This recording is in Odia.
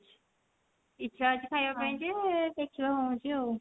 ଇଛା ଅଛି ଖାଇବା ପାଇଁ ଯେ ଦେଖିବା କଣ ହଉଛି ଆଉ